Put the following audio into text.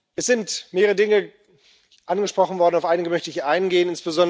Es sind mehrere Dinge angesprochen worden, auf einige möchte ich eingehen.